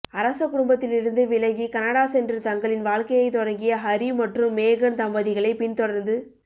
அரச குடும்பத்திலிருந்து விலகி கனடா சென்று தங்களின் வாழ்க்கையைத் தொடங்கிய ஹரி மற்றும் மேகன் தம்பதிகளைப் பின்தொடர்ந்து